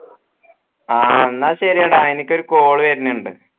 ആ എന്ന ശരീട എനിക്ക് ഒരു call വെരുന്നുണ്ട്